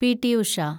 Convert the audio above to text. P. T. Usha